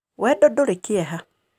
Wendo ndũrĩ kĩeha.